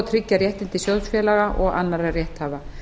tryggja réttindi sjóðfélaga og annarra rétthafa